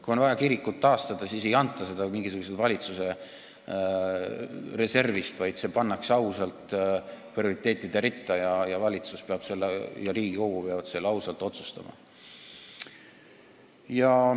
Kui on vaja kirikut taastada, siis ei anta seda mingisuguse valitsuse reservist, vaid see pannakse ausalt prioriteetide ritta ja valitsus ja Riigikogu peavad selle ausalt otsustama.